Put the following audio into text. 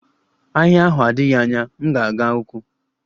Ahịa ahụ adịghị anya, m ga-aga ụkwụ.